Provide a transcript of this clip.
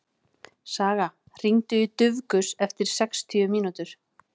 Saga, hringdu í Dufgus eftir sextíu mínútur.